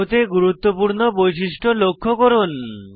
অণুতে গুরুত্বপূর্ণ বৈশিষ্ট্য লক্ষনীয় করুন